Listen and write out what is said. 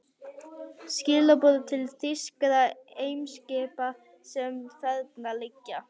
Skilaboð til þýskra eimskipa, sem þarna liggja.